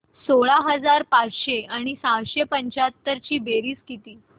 सोळा हजार पाचशे आणि सहाशे पंच्याहत्तर ची बेरीज किती